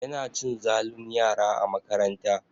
Yana cin zalun yara a makaranta.